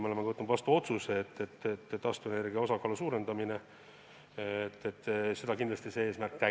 Me oleme ju, veel kord rõhutan, vastu võtnud otsuse, et taastuvenergia osakaalu suurendamine on meie eesmärk.